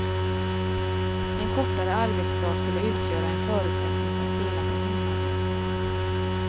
En kortare arbetsdag skulle utgöra en förutsättning för att dela på hemarbete.